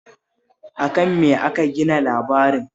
A kan me aka gina labarin?